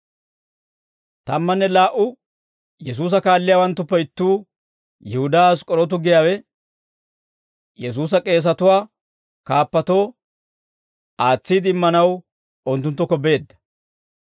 Tammanne laa"u Yesuusa kaalliyaawanttuppe ittuu Yihudaa Ask'k'orootu giyaawe, Yesuusa k'eesatuwaa kaappatoo aatsiide immanaw unttunttukko beedda.